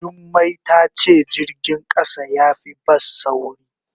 Jummai ta ce jirgin kasa ya fi bas sauri.